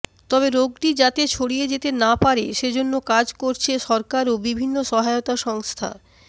তবে রোগটি যাতে ছড়িয়ে যেতে না পারে সেজন্য কাজ করছে সরকার ও বিভিন্ন সহায়তা সংস্থা